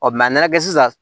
a nana kɛ sisan